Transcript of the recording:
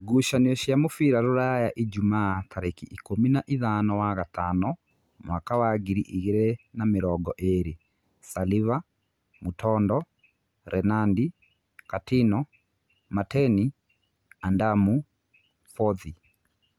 Ngucanio cia mũbira Ruraya Ijumaa tarĩki ikũmi na-ithano wa gatano mwaka wa ngiri igĩrĩ na mĩrongo ĩrĩ: Saliva, Mutondo, Renandi, Katino, Mateni, Andamu, Bothi